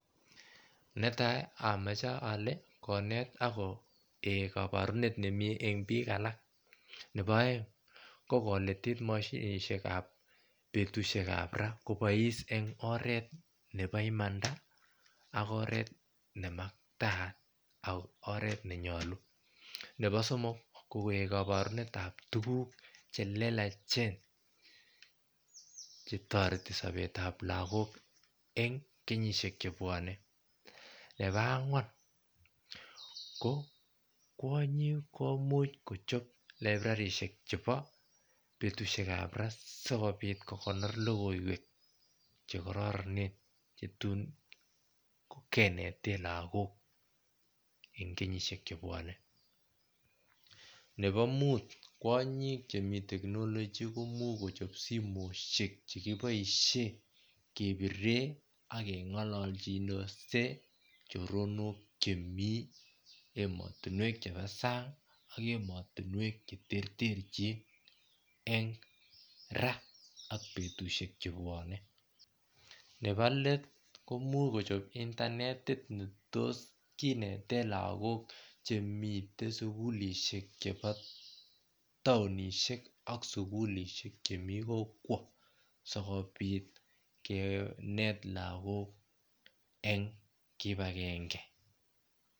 Netai amoche ole Konet akoik kaborunet nemie en biik alak nepo oeng kokolitit moshinishekab betushek kab raa kobois en oret nepo imanda akoret nemaktayat ak oret nenyolu nepo somok kokoik koborunetab tuguk chelelachen chetoreti sopetab lagok en kenyishek chebwone nepo angwan kwonyik komuch kochob librarishek chepo logiiwekab raa sikopit kokonori logiiwek chekororonen chetun kineten lagok en kenyishek chebwone nepo Mut kwonyik Chemi teknolochi komuch kochop simoshek chekiboishen kebiren ak kengololchindos choronok Chemi emotinwek chepo sang ak emotinwek cheterterchin en raa ak betushek chebwone nepo let komuch kochopen intanetit netos kineten lagok chemiten sugulisheki chebo taonishek ak sugulishek Chemi kokwo sikopit Kinet lagok en kipagenge